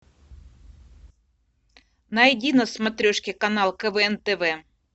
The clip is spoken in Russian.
найди на смотрешке канал квн тв